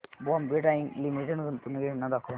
Bombay dyeing limited गुंतवणूक योजना दाखव